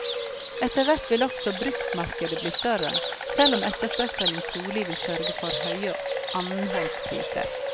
Etterhvert vil også bruktmarkedet bli større, selv om etterspørselen trolig vil sørge for høye annenhåndspriser.